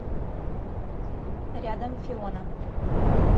рядом фиона